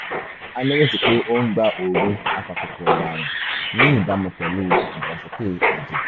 bí o bá ní ìbéèrè mìíràn máṣe lọ́ra láti béèrè